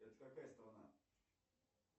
это какая страна